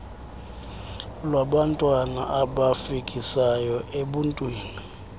lwabantwana abafikisayo ebuntwini